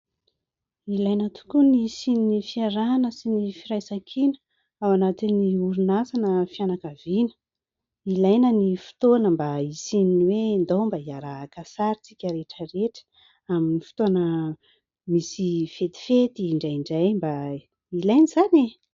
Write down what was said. Ilaina tokoa ny hisian'ny fiarahana sy ny firaisan-kina ao anatin'ny orinasa na fianakaviana. Ilaina ny fotoana mba hisian'ny hoe ndao mba hiara-haka sary isika rehetra rehetra amin'ny fotoana misy fetifety indraindray mba ilaina izany e !.